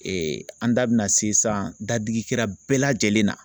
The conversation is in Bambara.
Ee an da bɛna se san dadigi la bɛɛ lajɛlen na